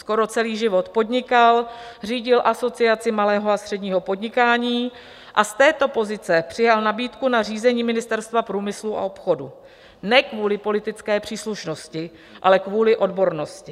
Skoro celý život podnikal, řídil Asociaci malého a středního podnikání a z této pozice přijal nabídku na řízení Ministerstva průmyslu a obchodu - ne kvůli politické příslušnosti, ale kvůli odbornosti.